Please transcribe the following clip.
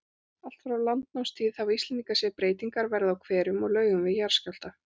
Allt frá landnámstíð hafa Íslendingar séð breytingar verða á hverum og laugum við jarðskjálfta.